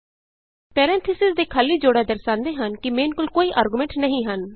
parentheses ਦੇ ਖਾਲੀ ਜੋੜਾ ਦਰਸਾਂਦੇ ਹਨ ਕਿ ਮੇਨ ਕੋਲ ਕੋਈ ਆਰਗੁਮੈਨਟ ਨਹੀਂ ਹਨ